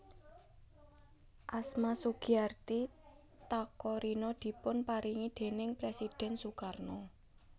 Asma Sugiarti Takarina dipun paringi déning Presidhèn Sukarno